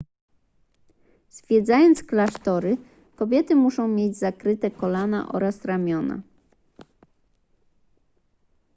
zwiedzając klasztory kobiety muszą mieć zakryte kolana oraz ramiona